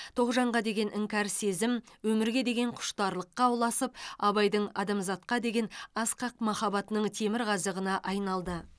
тоғжанға деген іңкәр сезім өмірге деген құштарлыққа ұласып абайдың адамзатқа деген асқақ махаббатының темірқазығына айналды